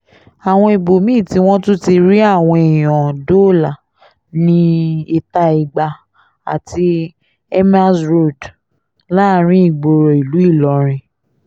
àwọn ibòmí-ín tí wọ́n tún ti rí àwọn èèyàn dóòlà ní íta-igba àti emirs road láàrin ìgboro ìlú ìlọrin